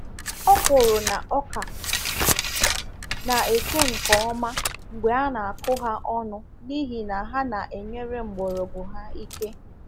Ọkwụrụ na ọka na-eto nke ọma mgbe a na-akụ ha ọnụ n’ihi na ha na-enyere mgbọrọgwụ ha ike.